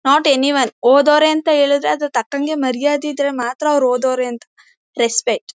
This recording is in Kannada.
ನಾಟ್ ಎನಿ ವನ್ ಓದೋರೆ ಅಂತ ಹೇಳಿದ್ರೆ ಅದು ತಕ್ಕಂಗೆ ಮರ್ಯಾದೆ ಇದ್ರೆ ಮಾತ್ರ ಅವರು ಓದೋರೆ ಅಂತ ರೆಸ್ಪೆಕ್ಟ್ .